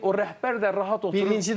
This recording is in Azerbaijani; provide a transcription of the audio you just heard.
O rəhbər də rahat oturur.